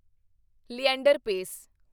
Leander ਪੈਸ